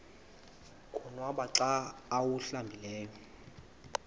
konwaba xa awuhlambileyo